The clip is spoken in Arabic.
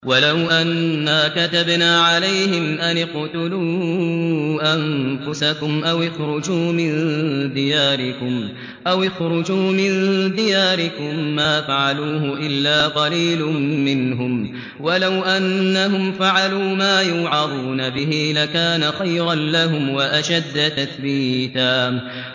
وَلَوْ أَنَّا كَتَبْنَا عَلَيْهِمْ أَنِ اقْتُلُوا أَنفُسَكُمْ أَوِ اخْرُجُوا مِن دِيَارِكُم مَّا فَعَلُوهُ إِلَّا قَلِيلٌ مِّنْهُمْ ۖ وَلَوْ أَنَّهُمْ فَعَلُوا مَا يُوعَظُونَ بِهِ لَكَانَ خَيْرًا لَّهُمْ وَأَشَدَّ تَثْبِيتًا